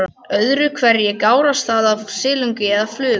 Öðru hverju gárast það af silungi eða flugu.